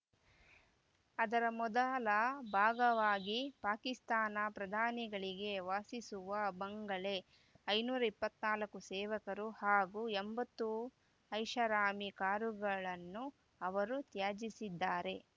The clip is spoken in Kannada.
ಅದರ ಮೊದಲ ಭಾಗವಾಗಿ ಪಾಕಿಸ್ತಾನ ಪ್ರಧಾನಿಗಳಿಗೆ ವಾಸಿಸುವ ಬಂಗಲೆ ಐದುನೂರ ಇಪ್ಪತ್ತ್ ನಾಲ್ಕು ಸೇವಕರು ಹಾಗೂ ಎಂಬತ್ತು ಐಷಾರಾಮಿ ಕಾರುಗಳನ್ನು ಅವರು ತ್ಯಜಿಸಿದ್ದಾರೆ